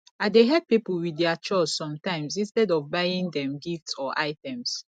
i dey help people with their chores sometimes instead of buying them gifts or items